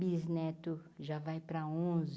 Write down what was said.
Bisneto já vai para onze.